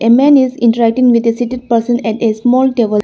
A man is interacting with a seated person at a small table.